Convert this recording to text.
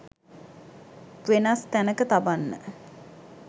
වෙනස් තැනක තබන්න